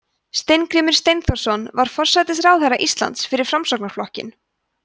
steingrímur steinþórsson var forsætisráðherra íslands fyrir framsóknarflokkinn